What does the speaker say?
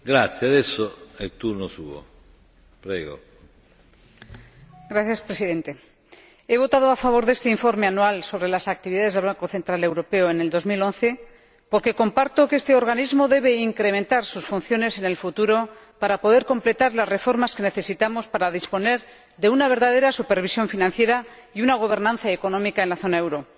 Señor Presidente, he votado a favor de este Informe anual sobre las actividades del Banco Central Europeo en 2011, porque comparto que este organismo debe incrementar sus funciones en el futuro para poder completar las reformas que necesitamos para disponer de una verdadera supervisión financiera y una gobernanza económica en la zona del euro.